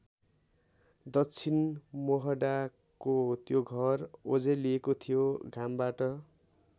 दक्षिण मोहडाको त्यो घर ओझेलिएको थियो घामबाट।